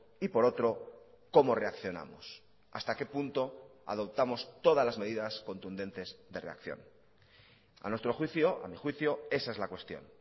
y por otro cómo reaccionamos hasta qué punto adoptamos todas las medidas contundentes de reacción a nuestro juicio a mí juicio esa es la cuestión